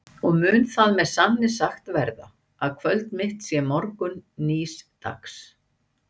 Og mun það með sanni sagt verða, að kvöld mitt sé morgunn nýs dags?